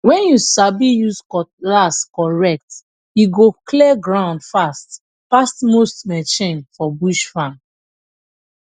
when you sabi use cutlass correct e go clear ground fast pass most machine for bush farm